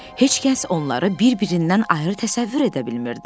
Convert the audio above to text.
Heç kəs onları bir-birindən ayrı təsəvvür edə bilmirdi.